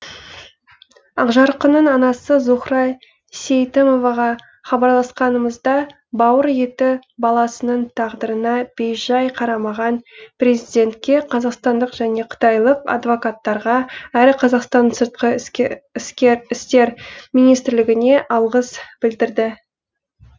ақжарқынның анасы зухра сейтімоваға хабарласқанымызда бауыр еті баласының тағдырына бейжай қарамаған президентке қазақстандық және қытайлық адвокаттарға әрі қазақстанның сыртқы істер министрлігіне алғыс білдірді